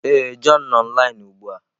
Ee, john nọ online ugbu a.